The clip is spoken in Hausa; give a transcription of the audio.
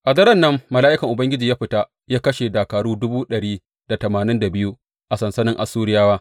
A daren nan mala’ikan Ubangiji ya fita ya kashe dakaru dubu ɗari da tamanin da biyu a sansanin Assuriyawa.